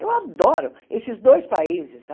Eu adoro esses dois países.